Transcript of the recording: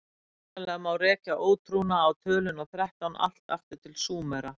Hugsanlega má rekja ótrúna á töluna þrettán allt aftur til Súmera.